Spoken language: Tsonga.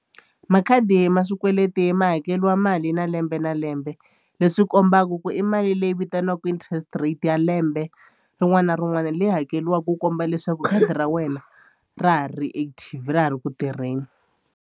Makhadi ma swikweleti ma hakeriwa mali na lembe na lembe leswi kombaka ku i mali leyi vitaniwaka interest rate ya lembe rin'wana na rin'wana leyi hakeriwaka ku komba leswaku khadi ra wena ra ha ri active ra ha ri ku tirheni.